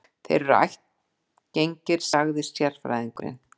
Þeir eru ættgengir, sagði sérfræðingurinn.